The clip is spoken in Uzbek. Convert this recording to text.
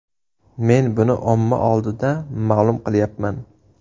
Men buni omma oldida ma’lum qilyapman.